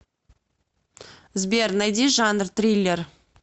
сбер найди жанр триллер